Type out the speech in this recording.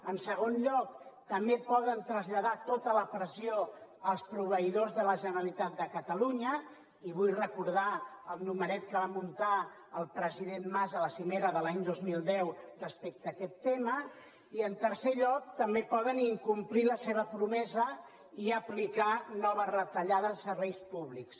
en segon lloc també poden traslladar tota la pressió als proveïdors de la generalitat de catalunya i vull recordar el numeret que va muntar el president mas a la cimera de l’any dos mil deu respecte a aquest tema i en tercer lloc també poden incomplir la seva promesa i aplicar noves retallades a serveis públics